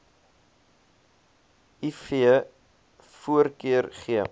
iv voorkeur gee